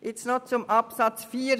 Zu Artikel 84 Absatz 4: